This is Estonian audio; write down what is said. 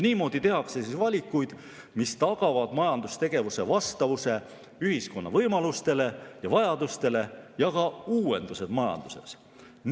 Niimoodi tehakse valikuid, mis tagavad majandustegevuse vastavuse ühiskonna võimalustele ja vajadustele ning ka uuendused majanduses.